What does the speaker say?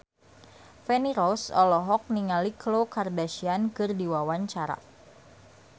Feni Rose olohok ningali Khloe Kardashian keur diwawancara